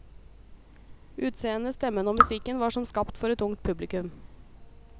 Utseende, stemmen og musikken var som skapt for et ungt publikum.